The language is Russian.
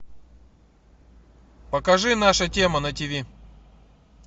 покажи наша тема на тиви